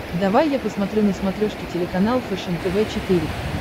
давай я посмотрю на смотрешке телеканал фэшен тв четыре к